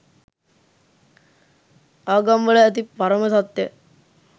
ආගම්වල ඇති පරම සත්‍ය